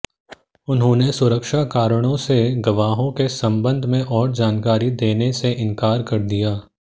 उन्होंने सुरक्षा कारणों से गवाहों के संबंध में और जानकारी देने से इंकार कर दिया